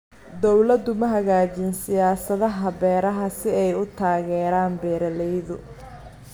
Dawladdu ma hagaajin siyaasadaha beeraha si ay u taageeraan beeralayda.